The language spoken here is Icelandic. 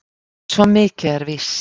Svo mikið er víst.